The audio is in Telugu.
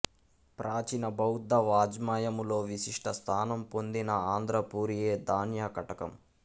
ప్రాచీన బౌద్ధ వాజ్మయములో విశిష్ట స్థానము పొందిన ఆంధ్రపురియే ధాన్యకటకం